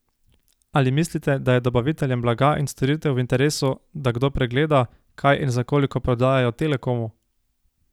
Ali mislite, da je dobaviteljem blaga in storitev v interesu, da kdo pregleda, kaj in za koliko prodajajo Telekomu?